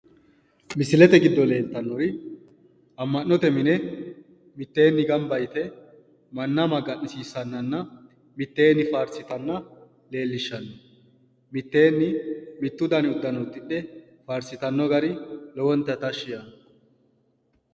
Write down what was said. Misilete giddo leeltannori amma'note mine mitteenni gamba yite manna magansiissanninna mitteenni mittu dani uddano uddidhe faarsitanno gari lowonta tashshi yaanno.